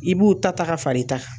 I b'u ta taga fara i ta kan.